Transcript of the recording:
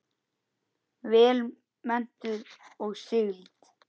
Vel menntuð og sigld.